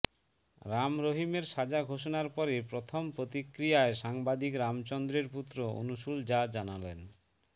রাম রহিমের সাজা ঘোষণার পরে প্রথম প্রতিক্রিয়ায় সাংবাদিক রামচন্দ্রের পুত্র অনশূল যা জানালেন